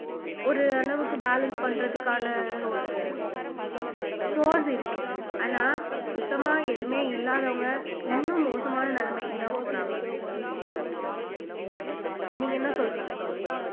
ஒரு அளவுக்கு balance பண்றதுக்கான ஒரு source இருக்கு ஆனா சுத்தமா எதுவுமே இல்லாதவங்க இன்னும் மோசமான நிலைமைக்குதான் போறாங்க நீங்க என்ன சொல்றீங்க கௌரி